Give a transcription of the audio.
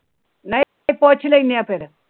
ਨਈ ਤੇ ਪੁਸ਼ ਲੇਂਦੇ ਆ ਫਿਰ।